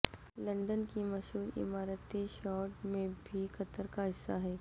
London کی مشہور عمارتی شارڈ میں بھی قطر کا حصہ ہے